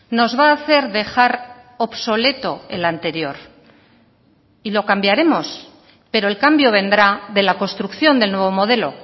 nos va a hacer dejar obsoleto el anterior y lo cambiaremos pero el cambio vendrá de la construcción del nuevo modelo